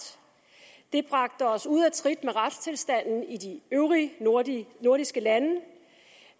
det bragte os ud af trit med retstilstanden i de øvrige nordiske lande